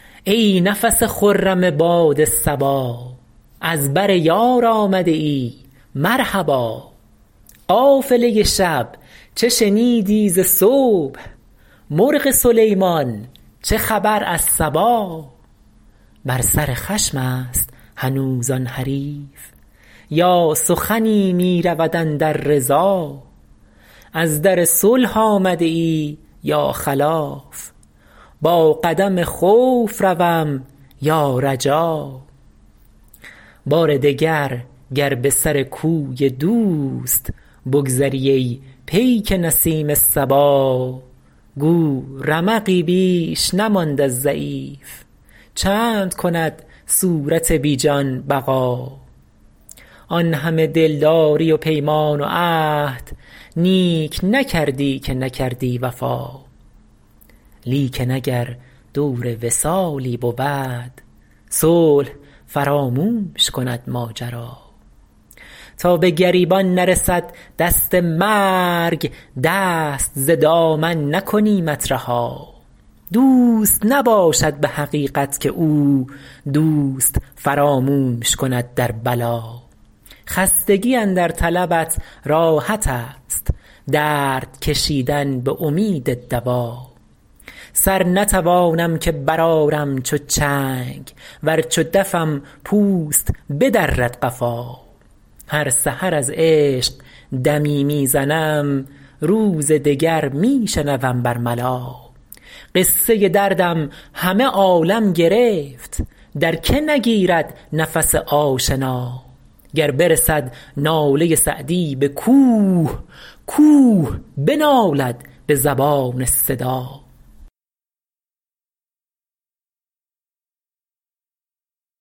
ای نفس خرم باد صبا از بر یار آمده ای مرحبا قافله شب چه شنیدی ز صبح مرغ سلیمان چه خبر از سبا بر سر خشم است هنوز آن حریف یا سخنی می رود اندر رضا از در صلح آمده ای یا خلاف با قدم خوف روم یا رجا بار دگر گر به سر کوی دوست بگذری ای پیک نسیم صبا گو رمقی بیش نماند از ضعیف چند کند صورت بی جان بقا آن همه دلداری و پیمان و عهد نیک نکردی که نکردی وفا لیکن اگر دور وصالی بود صلح فراموش کند ماجرا تا به گریبان نرسد دست مرگ دست ز دامن نکنیمت رها دوست نباشد به حقیقت که او دوست فراموش کند در بلا خستگی اندر طلبت راحت است درد کشیدن به امید دوا سر نتوانم که برآرم چو چنگ ور چو دفم پوست بدرد قفا هر سحر از عشق دمی می زنم روز دگر می شنوم بر ملا قصه دردم همه عالم گرفت در که نگیرد نفس آشنا گر برسد ناله سعدی به کوه کوه بنالد به زبان صدا